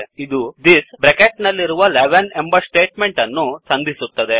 ಇದು this bracket ನಲ್ಲಿರುವ 11 ಎಂಬ ಸ್ಟೇಟ್ ಮೆಂಟ್ ಅನ್ನು ಸಂಧಿಸುತ್ತದೆ